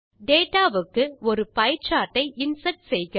data வுக்கு ஒரு pie chart ஐ இன்சர்ட் செய்க